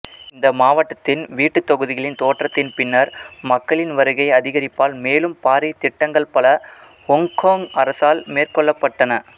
இந்த மாவட்டத்தின் வீட்டுத்தொகுதிகளின் தோற்றத்தின் பின்னர் மக்களின் வருகை அதிகரிப்பால் மேலும் பாரிய திட்டங்கள் பல ஹொங்கோங் அரசால் மேற்கொள்ளப்பட்டன